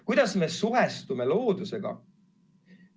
Kuidas me suhestume loodusega?